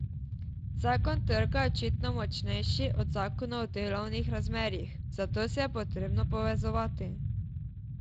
Zakon trga je očitno močnejši od zakonov o delovnih razmerjih, zato se je potrebno povezovati.